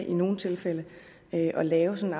i nogle tilfælde at lave sådan